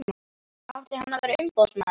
Átti hann að vera umboðsmaður?